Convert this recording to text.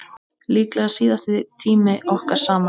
Líklega síðasti tími okkar saman.